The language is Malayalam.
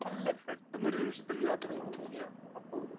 സ്പീക്കർ 1 അല്ല പെട്ടെന്നൊരു നിമിഷത്തിൽ യാത്ര ചെയ്യണമെന്ന് തോന്നിയാൽ അപ്പൊ വിടും.